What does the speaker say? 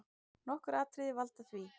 Nokkur atriði valda því.